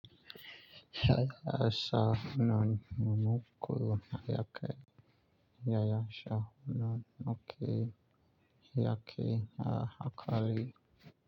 Ha sha nanu mu muku hayake. Haya sha nanu ke hayake na hakali.